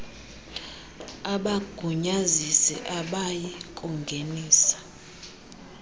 abagunyazisi abayi kungenisa